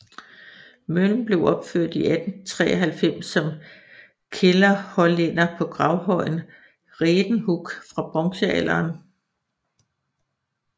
Møllen blev opført i 1893 som kælderhollænder på gravhøjen Redenhuug fra bronzealderen